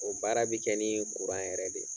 O baara bɛ kɛ ni kuran yɛrɛ de